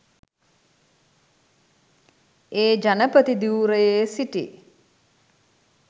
ඒ ජනපති ධුරයේ සිටි